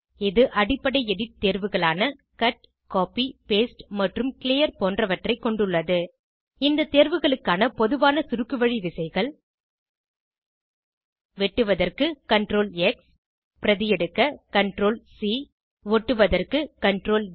இது அடிப்படை எடிட் தேர்வுகளான கட் கோப்பி பாஸ்டே மற்றும் கிளியர் போன்றவற்றை கொண்டுள்ளது இந்த தேர்வுகளுக்கான பொதுவான சுருக்குவழி விசைகள் வெட்டுவதற்கு CTRLX பிரதியெடுக்க CTRLC ஒட்டுவதற்கு CTRLV